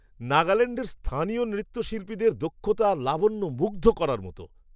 নাগাল্যাণ্ডের স্থানীয় নৃত্যশিল্পীদের দক্ষতা আর লাবণ্য মুগ্ধ করার মতো।